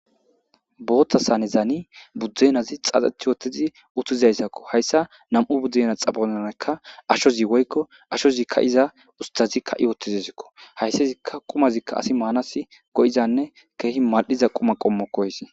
Bootha sanezani budenazi xaxethi uutizi uutizaysakko. Haysa nam'u budenaza xaphonenika ashozi woyikko ashozi kaiza usithazi kaa'i uutizesiko. Hayisazika kumazika asi Manas goizanne kehi madiza Kuma qomokko hayisi.